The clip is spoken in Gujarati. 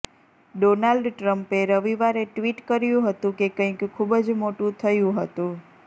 ડોનાલ્ડ ટ્રમ્પે રવિવારે ટ્વિટ કર્યું હતું કે કંઈક ખૂબ જ મોટું થયું હતું